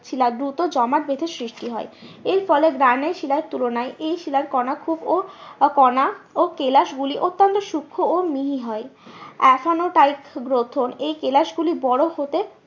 শিলা দূত জমাট বেঁধে সৃষ্টি হয়। এর ফলে গ্রানাইট শিলার তুলনায় এই শিলার কনা কনা ও কেলাস গুলি অত্যান্ত সুক্ষ ও মিহি হয়। গ্রথন এই কেলাস গুলি বড়ো হতে